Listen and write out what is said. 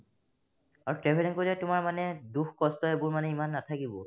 আৰু traveller কৰিলে তোমাৰ মানে দুখ-কষ্ট এইবোৰ মানে ইমান নাথাকিব